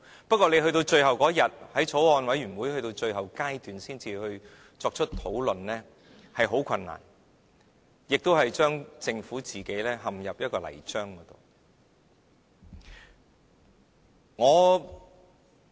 不過，到了最後一天，才在法案委員會最後階段討論，是很困難的，亦將政府陷入泥漿中。